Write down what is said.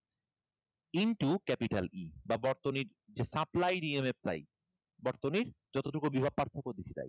Into capital E বা বর্তনীর যে supply এর EMF টাই, বর্তনীর যতটুকু বিভব পার্থক্য দিয়েছে তাই। এটাকে ইংরেজি টা বলা হয় VDR.